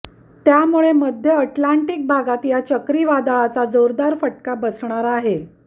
त्यामुळे मध्य अटलांटिक भागात या चक्रीवादळाचा जोरदार फटका बसणार आहे